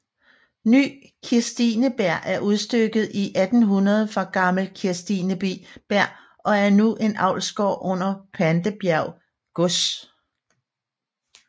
Ny Kirstineberg er udstykket i 1800 fra Gammel Kirstineberg og er nu en avlsgård under Pandebjerg Gods